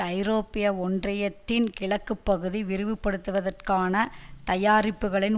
ஐரோப்பிய ஒன்றியத்தின் கிழக்குப்பகுதி விரிவுபடுத்துவதற்கான தயாரிப்புக்களின்